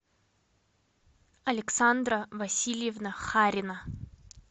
александра васильевна харина